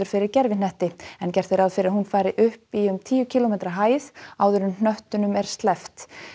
fyrir gervihnetti en gert er ráð fyrir að hún fari upp í um tíu kílómetra hæð áður en hnöttunum er sleppt